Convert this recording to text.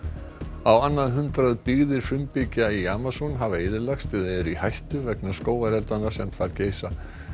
á annað hundrað byggðir frumbyggja í Amazon hafa eyðilagst eða eru í hættu vegna skógareldanna sem þar geisa